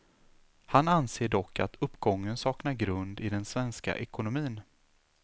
Han anser dock att uppgången saknar grund i den svenska ekonomin.